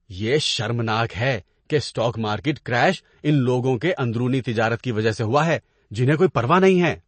یہ شرمناک ہے کہ اسٹاک مارکیٹ کریش ان لوگوں کی اندرونی تجارت کی وجہ سے ہوا ہے جنہیں کوئی پرواہ نہیں ہے۔